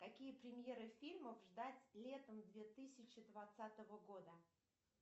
какие премьеры фильмов ждать летом две тысячи двадцатого года